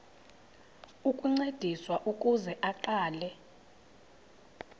ukuncediswa ukuze aqale